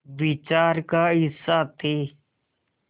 विचार का हिस्सा थे